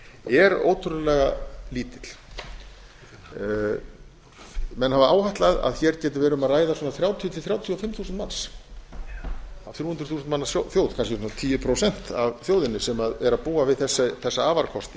er ótrúlega lítill menn hafa áætlað að hér geti verið um að ræða svona þrjátíu til þrjátíu og fimm þúsund manns af þrjú hundruð þúsund manna þjóð kannski svona tíu prósent af þjóðinni sem er að búa við þessa afarkosti